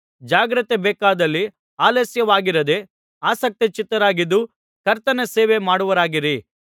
ಜಾಗ್ರತೆ ಬೇಕಾದಲ್ಲಿ ಆಲಸ್ಯವಾಗಿರದೆ ಆಸಕ್ತಚಿತ್ತರಾಗಿದ್ದು ಕರ್ತನ ಸೇವೆ ಮಾಡುವವರಾಗಿರಿ